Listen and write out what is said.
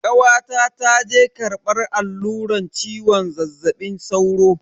Kawata ta je karbar alluran ciwon zazzabin sauro.